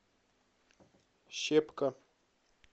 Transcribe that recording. щепка